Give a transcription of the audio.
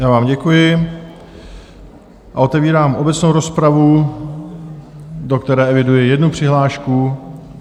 Já vám děkuji a otevírám obecnou rozpravu, do které eviduji jednu přihlášku.